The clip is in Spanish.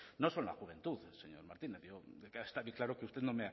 no son la juventud señor martínez está bien claro que usted no